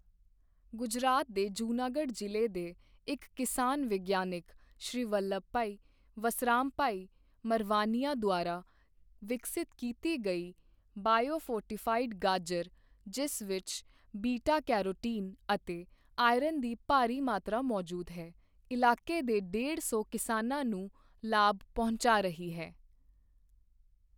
ਗੁਜਰਾਤ ਦੇ ਜੂਨਾਗੜ੍ਹ ਜ਼ਿਲ੍ਹੇ ਦੇ ਇੱਕ ਕਿਸਾਨ ਵਿਗਿਆਨੀ ਸ਼੍ਰੀ ਵੱਲਬਭਾਈ ਵਸਰਾਮਭਾਈ ਮਰਵਾਨੀਆ ਦੁਆਰਾ ਵਿਕਸਿਤ ਕੀਤੀ ਗਈ ਬਾਇਓਫੋਰਟੀਫਾਈਡ ਗਾਜਰ, ਜਿਸ ਵਿੱਚ ਬੀਟਾ ਕੈਰੋਟੀਨ ਅਤੇ ਆਇਰਨ ਦੀ ਭਾਰੀ ਮਾਤਰਾ ਮੌਜੂਦ ਹੈ, ਇਲਾਕੇ ਦੇ ਡੇਢ ਸੌ ਕਿਸਾਨਾਂ ਨੂੰ ਲਾਭ ਪਹੁੰਚਾ ਰਹੀ ਹੈ।